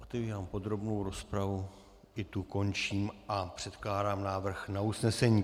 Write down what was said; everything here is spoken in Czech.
Otevírám podrobnou rozpravu, i tu končím a předkládám návrh na usnesení: